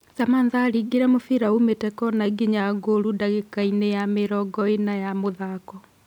Samantha aringire mũbira ũmĩte kona nginya ngũru ndagĩka-inĩ ya mĩrongo-ĩna ya mũthako.